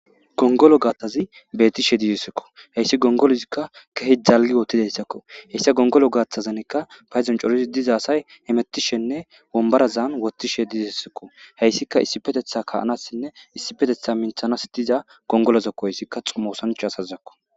Gongolo gatazi betishe dizaysako haysi gongolozika kehi dalgi wotizaysako hesa gongolo gatazanka paydon c'oridi diza asay hemetishene wombarazan wotishe dizesiko heysika issipetetan ka'anasne issipeteta mintanas diza gongolozako heysika xuma osanchazako.